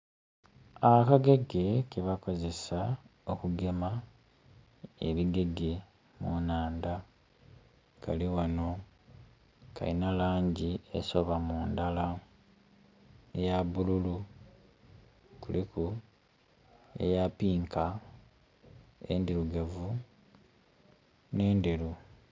Akagege ke bakozesa okugema ebigege mu nnhandha kali wano kalina langi esoba mundala eya bululu, kuliku eya pinka, endhirugavu ne ndheru.